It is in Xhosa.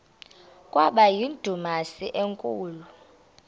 kwaba yindumasi enkulu